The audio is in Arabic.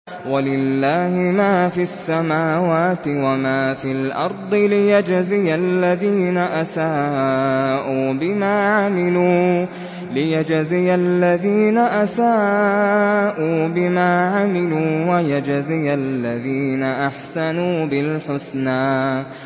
وَلِلَّهِ مَا فِي السَّمَاوَاتِ وَمَا فِي الْأَرْضِ لِيَجْزِيَ الَّذِينَ أَسَاءُوا بِمَا عَمِلُوا وَيَجْزِيَ الَّذِينَ أَحْسَنُوا بِالْحُسْنَى